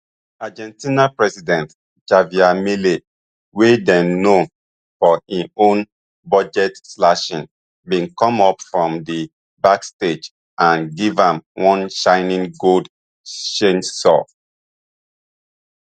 argentinian president javier milei wey dey known for im own budgetslashing bin come up from di backstage and give am one shiny gold chainsaw